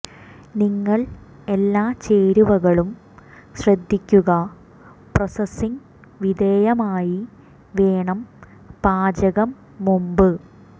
നിങ്ങൾ എല്ലാ ചേരുവകളും ശ്രദ്ധിക്കുക പ്രോസസ്സിംഗ് വിധേയമായി വേണം പാചകം മുമ്പ്